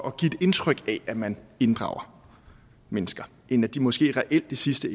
at give et indtryk af at man inddrager mennesker end at de måske reelt i sidste